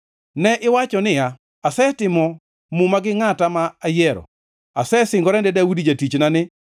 Ne iwacho niya, “Asetimo muma gi ngʼata ma ayiero, asesingora ne Daudi jatichna ni,